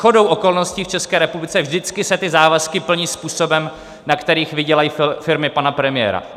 Shodou okolností v České republice vždycky se ty závazky plní způsobem, na kterých vydělají firmy pana premiéra.